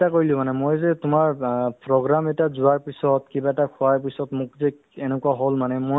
তোমাৰ অ অ তোমাক যিটো মই কৈ মই মোৰ যিটো মানে ধৰা experience বা যিটো মোৰ চলি আছে